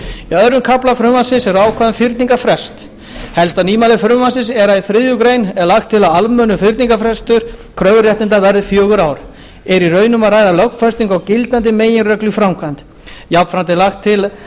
öðrum kafla frumvarpsins eru ákvæði um fyrningarfrest helsta nýmæli frumvarpsins er að í þriðju grein er lagt til að almennur fyrningarfrestur kröfuréttinda verði fjögur ár er í raun um að ræða lögfestingu á gildandi meginreglu í framkvæmd jafnframt er lagt til að